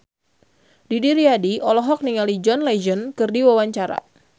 Didi Riyadi olohok ningali John Legend keur diwawancara